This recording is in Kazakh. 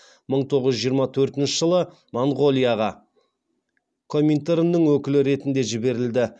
мың тоғыз жүз жиырма төртінші жылы монғолияға коминтерннің өкілі ретінде жіберілді